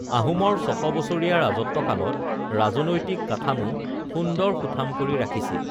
আহোমৰ ছশ বছৰীয়া ৰাজত্ব কালত ৰাজনৈতিক কাঠামো সুন্দৰ সুঠাম কৰি ৰাখিছিল